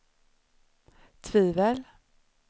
tvivel